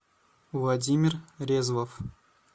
владимир резвов